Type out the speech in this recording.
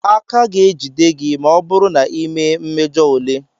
A ka ga-ejide gị ma ọ bụrụ na ịmee mmejọ ule.